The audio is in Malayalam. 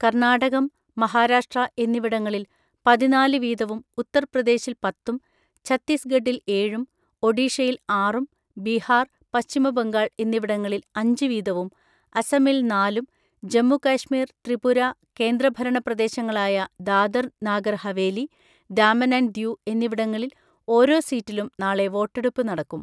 കർണ്ണാടകം, മഹാരാഷ്ട്ര എന്നിവിടങ്ങളില് പതിനാല് വീതവും, ഉത്തര്പ്രദേശില് പത്തും, ഛത്തീസ്ഗഢിൽ ഏഴും, ഒഡിഷയിൽ ആറും, ബീഹാർ , പശ്ചിമ ബംഗാൾ എന്നിവിടങ്ങളിൽ അഞ്ച് വീതവും, അസമിൽ നാലും, ജമ്മുകാശ്മീർ, ത്രിപുര, കേന്ദ്ര ഭരണ പ്രദേശങ്ങളായ ദാദർ നാഗർ ഹാവേലി, ദാമൻ ആന്റ് ദിയൂ എന്നിവിടങ്ങളിൽ ഓരോ സീറ്റിലും നാളെ വോട്ടെടുപ്പ് നടക്കും.